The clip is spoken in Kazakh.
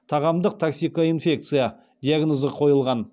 тағамдық токсикоинфекция диагнозы қойған